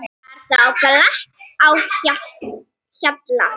Var þá glatt á hjalla.